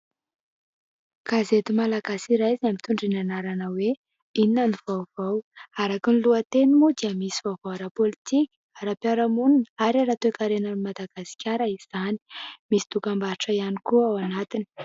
Gazety malagasy iray izay mitondra ny anarana hoe : Inona ny vaovao. Araka ny lohateny moa dia misy vaovao ara-politika, ara-piarahamonina ary ara-toekarenan'i Madagasikara izany. Misy dokam-barotra ihany koa ao anatiny.